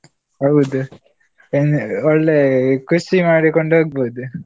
ಹೌದು, ಏನ್ ಆ ಒಳ್ಳೆ ಖುಷಿ ಮಾಡಿಕೊಂಡು ಹೋಗ್ಬೋದು.